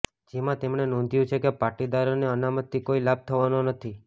જેમાં તેમણે નોંધ્યું છે કે પાટીદારોને અનામતથી કોઈ લાભ થવાનો નથી